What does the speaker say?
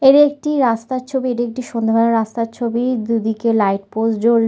এটি একটি রাস্তার ছবি। এটি একটি সন্ধেবেলা রাস্তার ছবি। দুদিকে লাইট পোস্ট জ্বল--